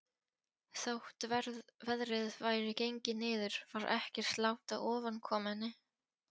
Þótt veðrið væri gengið niður var ekkert lát á ofankomunni.